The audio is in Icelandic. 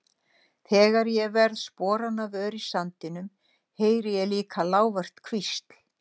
Þegar ég verð sporanna vör í sandinum heyri ég líka lágvært hvísl.